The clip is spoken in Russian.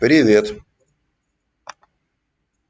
привет